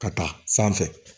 Ka taa sanfɛ